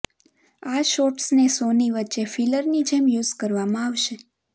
આ શોટ્સને શોની વચ્ચે ફિલરની જેમ યૂઝ કરવામાં આવશે